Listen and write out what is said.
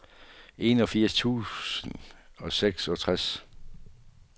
enogfirs tusind og seksogtres